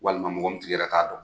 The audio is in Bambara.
Walima mɔgɔ min tigi yɛrɛ ka dɔn.